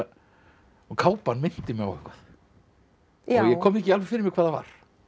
kápan minnti mig á eitthvað en ég kom því ekki alveg fyrir mig hvað það var